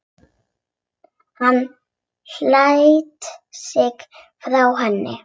Hann sleit sig frá henni.